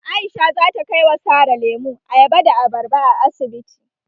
Aisha zata kai wa Sara lemu, ayaba da abarba a asibiti.